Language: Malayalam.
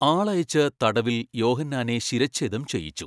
ആളയച്ച് തടവിൽ യോഹന്നാനെ ശിരഃഛേദം ചെയ്യിച്ചു.